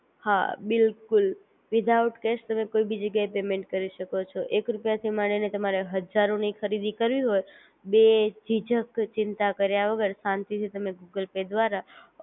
હા બિલકુલ without cash તમે કોઈ બી જગ્યા એ પેમેન્ટ કરી શકો છો એક રૂપીયા થી માંડી ને તમારે હજારો ની ખરીદી કરવી હોય બે જિજક ચિંતા કર્યા વગર શાંતિ થી ગૂગલ પે દ્વારા